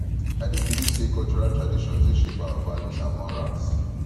i dey believe say cultural traditions dey shape our values and morals